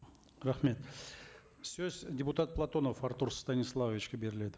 рахмет сөз депутат платонов артур станиславовичке беріледі